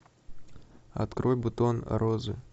открой бутон розы